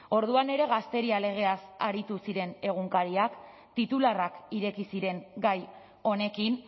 orduan ere gazteria legeaz aritu ziren egunkariak titularrak ireki ziren gai honekin